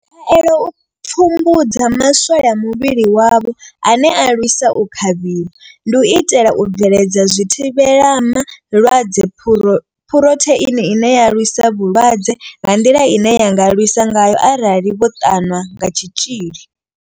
Khaelo i pfumbudza ma swole a muvhili wavho ane a lwisa u kavhiwa, u itela u bveledza zwithivhelama lwadze phurotheini ine ya lwisa vhulwadze nga nḓila ine ya nga lwisa ngayo arali vho ṱanwa kha tshitzhili.